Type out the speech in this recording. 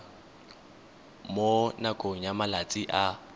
mo nakong ya malatsi a